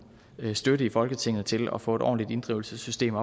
støtte i folketinget til at få et ordentligt inddrivelsessystem